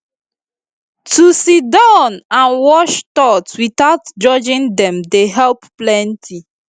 to siddon and watch thought without judging dem dey help plenty